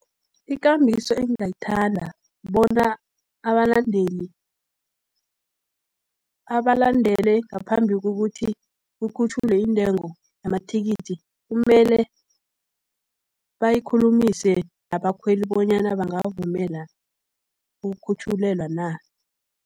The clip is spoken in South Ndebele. Ikambiso engingayithanda, bona abalandele ngaphambi kokuthi kukhutjhulwe iintengo yamathikithi, kumele bayikhulumise nabakhweli, bonyana bangavumela ukukhutjhulelwa na.